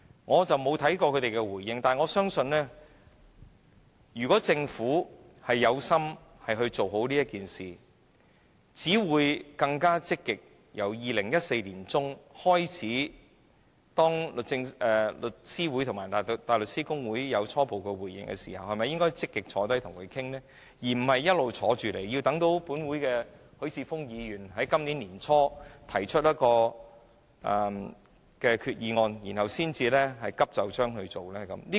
我沒有看過他們的回應，但我相信，如果政府有心做好此事，便會在2014年年中當律師會和大律師公會有初步回應時積極討論，而並非一直等待許智峯議員在今年年初提出擬議決議案時才急就章處理。